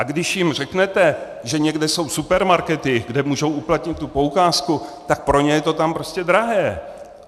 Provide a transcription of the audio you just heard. A když jim řeknete, že někde jsou supermarkety, kde můžou uplatnit tu poukázku, tak pro ně je to tam prostě drahé.